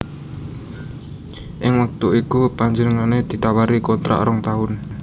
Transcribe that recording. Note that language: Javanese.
Ing wektu iku panjenengané ditawari kontrak rong taun